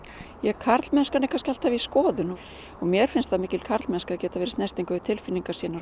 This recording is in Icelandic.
karlmennskan er alltaf í skoðun mér finnst það mikil karlmennska að geta verið í snertingu við tilfinningar sínar og